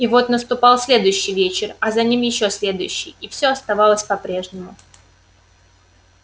но вот наступал следующий вечер а за ним ещё следующий и все оставалось по-прежнему